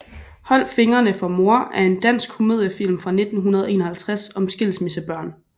Hold fingrene fra mor er en dansk komediefilm fra 1951 om skilsmissebørn